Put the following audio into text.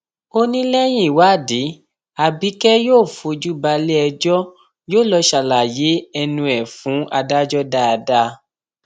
ó ní lẹyìn ìwádìí abike yóò fojú balẹẹjọ yóò lọọ ṣàlàyé ẹnu ẹ fún adájọ dáadáa